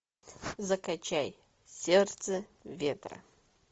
закачай сердце ветра